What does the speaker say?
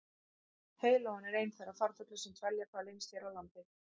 heiðlóan er einn þeirra farfugla sem dvelja hvað lengst hér á landi